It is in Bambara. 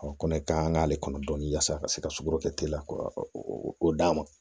ko ne ka kan k'ale kɔnɔ dɔɔnin yasa ka se ka sukoro kɛ teliya ko o d'a ma